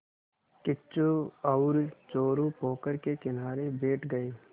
किच्चू और चोरु पोखर के किनारे बैठ गए